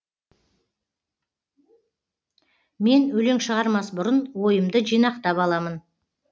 мен өлең шығармас бұрын ойымды жинақтап аламын